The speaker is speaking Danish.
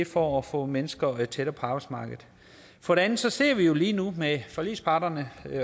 for at få mennesker tættere på arbejdsmarkedet for det andet sidder vi jo lige nu med forligsparterne